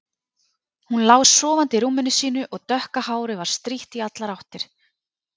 Hún lá sofandi í rúminu sínu og dökka hárið var strítt í allar áttir.